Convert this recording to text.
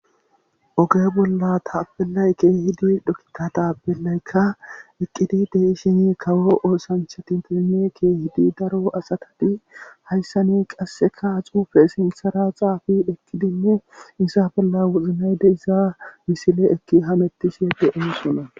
oge bolla taapelay kee7hidi dhokkika taapelaykka eqqidi deishini kawo oosancha tintinne kehi daro asatadi hayssani qasseka xuufe sintsara xaafi ekkidinne isa bolla wuznay dezisaa misile ekki hamettishe de7osona